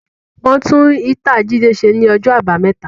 Wọn tún ítàa Jídé ṣe ní ọjọ́ àbámẹ́ta